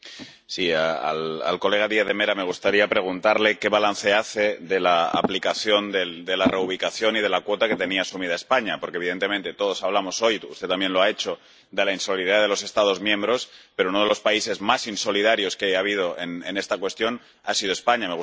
Señor presidente, a mi colega Díaz de Mera me gustaría preguntarle qué balance hace de la aplicación de la reubicación y de la cuota que tenía asumida España. Porque, evidentemente, todos hablamos hoy —usted también lo ha hecho— de la insolidaridad de los Estados miembros, pero uno de los países más insolidarios que ha habido en esta cuestión ha sido España.